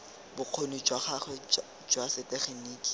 bokgoni jwa gagwe jwa setegeniki